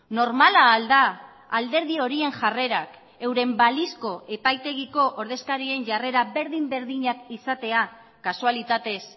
normala al da alderdi horien jarrerak euren balizko epaitegiko ordezkarien jarrera berdin berdinak izatea kasualitatez